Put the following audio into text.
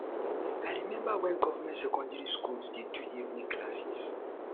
i remember wen government secondary schools dey do evening classes